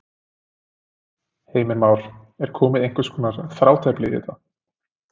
Heimir Már: Er komið einhvers konar þrátefli í þetta?